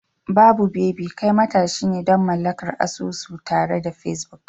Babu baby, kai matashi ne don mallakar asusu tare da Facebook.